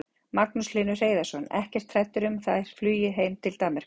Magnús Hlynur Hreiðarsson: Ekkert hræddur um að þær fljúgi heim til Danmerkur?